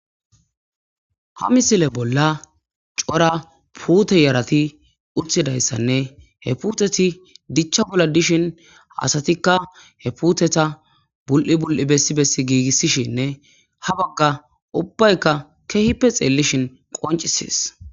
ha misile bolla cora puute yarati utidayssanne he puteti dichcha bolla dishin asatikka he puteta bul'i bul'i bessi bessi giigissishinne ha bagga ubbaykka kehippe xeellishin qoncisees